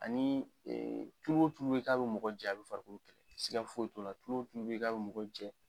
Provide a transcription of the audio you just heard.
Ani tutu wo tulu bɛ yen k'a bɛ mɔgɔ jɛ a bɛ farikolo kɛlɛ siga foyi t'o la tulu wo tulu bɛ yen k'a bɛ mɔgɔ jɛ.